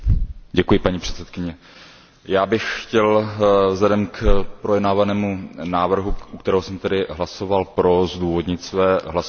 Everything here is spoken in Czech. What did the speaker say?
Paní předsedající, já bych chtěl vzhledem k projednávanému návrhu, u kterého jsem hlasoval pro, zdůvodnit své hlasování.